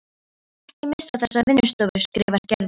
Ég skal ekki missa þessa vinnustofu skrifar Gerður.